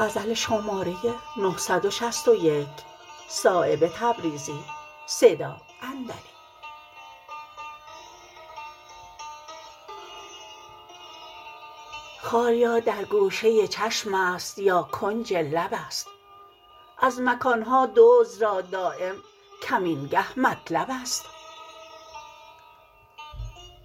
خال یا در گوشه چشم است یا کنج لب است از مکان ها دزد را دایم کمینگه مطلب است